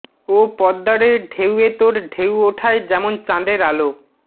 ও পদ্মা রে ঢেউয়ে তোর ঢেউ ওঠায় যেমন চাঁদের আলো